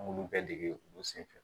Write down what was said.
An b'olu bɛɛ dege olu senfɛ